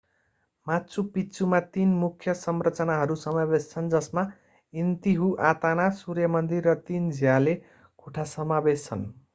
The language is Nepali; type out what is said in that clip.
माचु पिच्चुमा तीन मुख्य संरचनाहरू समावेश छन् जसमा इन्तिहुआताना सूर्य मन्दिर र तीन झ्याले कोठा समावेश छन्